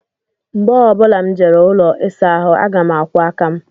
Mgbe ọ bụla m jere ụlọ ịsa ahụ aga m akwọ aka m